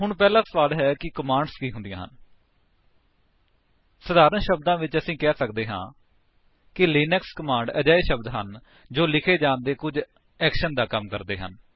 ਹੁਣ ਪਹਿਲਾ ਸਵਾਲ ਹੈ ਕਿ ਕਮਾਂਡਸ ਕੀ ਹੁੰਦੀਆਂ ਹਨ 160 ਸਰਲ ਸ਼ਬਦਾਂ ਵਿੱਚ ਅਸੀਂ ਕਹਿ ਸਕਦੇ ਹਾਂ ਕਿ ਲਿਨਕਸ ਕਮਾਂਡਸ ਅਜਿਹੇ ਸ਼ਬਦ ਹਨ ਜੋ ਲਿਖੇ ਜਾਣ ਤੇ ਕੁੱਝ ਐਕਸ਼ਨ ਜਾਂ ਕੰਮ ਕਰਦੇ ਹਨ